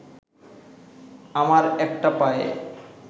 আমার একটা পায়ে